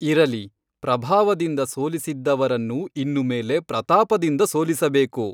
ಇರಲಿ ಪ್ರಭಾವದಿಂದ ಸೋಲಿಸಿದ್ದವರನ್ನು ಇನ್ನು ಮೇಲೆ ಪ್ರತಾಪದಿಂದ ಸೋಲಿಸಬೇಕು.